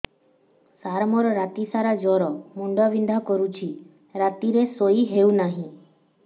ସାର ମୋର ରାତି ସାରା ଜ୍ଵର ମୁଣ୍ଡ ବିନ୍ଧା କରୁଛି ରାତିରେ ଶୋଇ ହେଉ ନାହିଁ